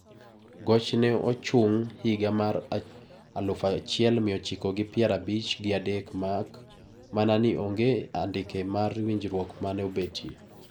Goch ne ochung higa mar aluf achiel mia ochiko gi pier abich gi adek mak mana ni onge andike mar winjruok ma ne obetie.